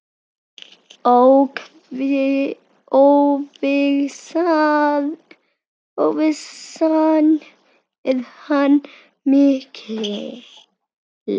Óvissan er enn mikil.